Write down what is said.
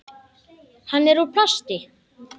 Hann er úr plasti.